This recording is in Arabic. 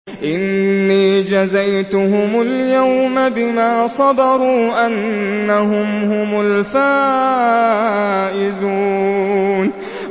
إِنِّي جَزَيْتُهُمُ الْيَوْمَ بِمَا صَبَرُوا أَنَّهُمْ هُمُ الْفَائِزُونَ